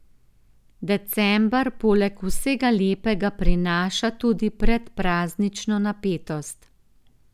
December poleg vsega lepega prinaša tudi predpraznično napetost.